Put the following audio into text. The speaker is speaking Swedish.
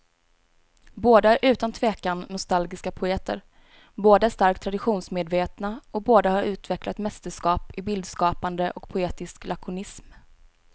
Båda är utan tvekan nostalgiska poeter, båda är starkt traditionsmedvetna och båda har utvecklat mästerskap i bildskapande och poetisk lakonism.